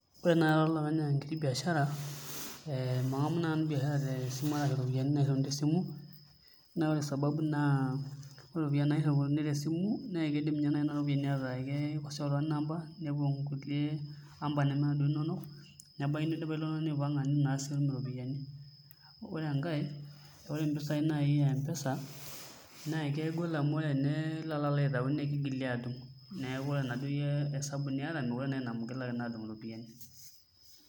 Ore naai ara olopeny enkiti biashara, mang'amu naai nanu iropiyiani nairriuni te esimu naa ore sababu naa, ore iropiyiani nairriuni te esimu naa teniidimnena ropiyiani aataa tenikosea oltung'ani namba nepuo nkulie amba neme kunda inonok nebaiki nidipa ilo tung'ani aipang'a nitu naa sii itum iropiyiani, ore enkae ore mpisaai naai e M-pesa naa kehol amu are enilo alo aitau naa kigili aadung' neeku ore iyie enaduo esabu niata meekure naa ina mau igilaki aadung' iropiyiani.